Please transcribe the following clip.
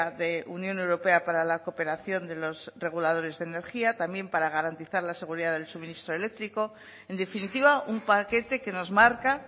de unión europea para la cooperación de los reguladores de energía también para garantizar la seguridad del suministro eléctrico en definitiva un paquete que nos marca